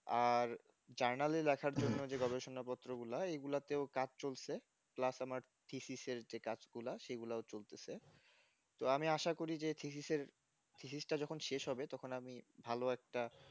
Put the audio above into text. আর জার্নালি লেখার জন্য যে গবেষণা পত্র গুলা এই গুলাতে ও কাজ চলছে plus আমার PCC এর যে কাজগুলা যেগুলা ও চলতেছে তো আমি আশা করি PCCPCC টা যখন শেষ হবে তখন আমি ভালো একটা